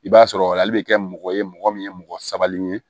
I b'a sɔrɔ ale bɛ kɛ mɔgɔ ye mɔgɔ min ye mɔgɔ sabalilen ye